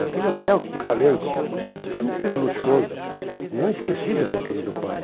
Naquele hotel que te falei, super luxuoso, não esqueci do meu querido pai.